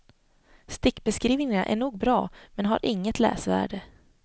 Stickbeskrivningarna är nog bra men har inget läsvärde.